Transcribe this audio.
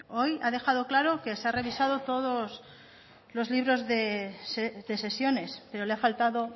hoy ha dejado claro que se ha revisado todos los libros de sesiones pero le ha faltado